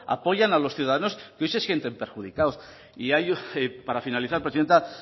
apoyan a los ciudadanos que hoy se sienten perjudicados y ya para finalizar presidenta